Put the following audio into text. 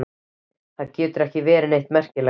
Það getur ekki verið neitt merkilegt.